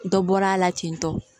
Dɔ bɔra a la tentɔ